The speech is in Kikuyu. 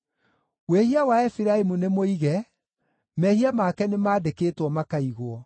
Wĩhia wa Efiraimu nĩmũige, mehia make nĩmandĩkĩtwo makaigwo.